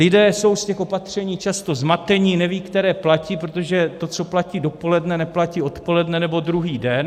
Lidé jsou z těch opatření často zmateni, nevědí, které platí, protože to, co platí dopoledne, neplatí odpoledne nebo druhý den.